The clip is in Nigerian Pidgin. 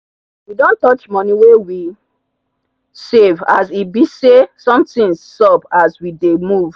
we don touch money wey we save as e be say something sup as we dey move